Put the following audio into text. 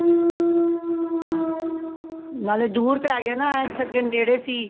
ਹਾਂ ਨਾਲੇ ਦੂਰ ਪੈ ਗਯਾ ਨਾ ਇਥੇ ਅੱਗੇ ਨੇੜੇ ਸੀ